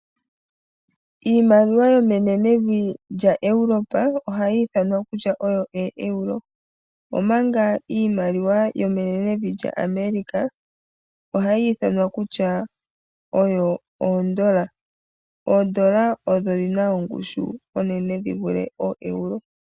Iimaliwa yomenenevi lya Europa ohayi ithanwa kutya oyo ooEuro. Omanga iimaliwa yomenenevi lyaAmerika ohayi ithanwa kutya oyo Oodola. Oodola odho dhina ongushu onene dhi vule ooEuro.